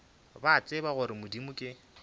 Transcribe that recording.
ba tseba gore modimo ke